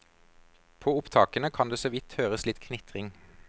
På opptakene kan det såvidt høres litt knitring.